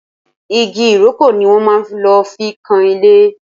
Igi Ìrókò ni wọ́n máa lò fi kan ilé